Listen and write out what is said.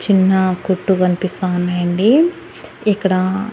చిన్న కొట్టు కనిపిస్తా ఉన్నాయండి ఇక్కడా--